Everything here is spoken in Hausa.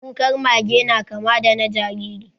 Kukar mage na kamar da na jariri